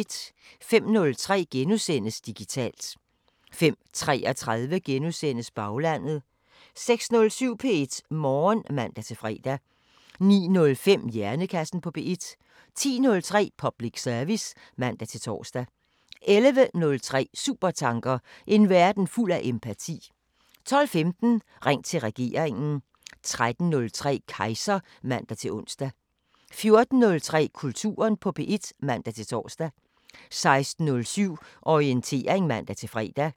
05:03: Digitalt * 05:33: Baglandet * 06:07: P1 Morgen (man-fre) 09:05: Hjernekassen på P1 10:03: Public service (man-tor) 11:03: Supertanker: En verden fuld af empati 12:15: Ring til regeringen 13:03: Kejser (man-ons) 14:03: Kulturen på P1 (man-tor) 16:07: Orientering (man-fre)